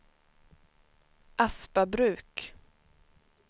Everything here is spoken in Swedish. Aspabruk